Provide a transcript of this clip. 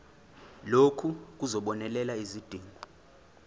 lokhu kuzobonelela izidingo